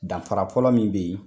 Danra fɔlɔ min bɛ ye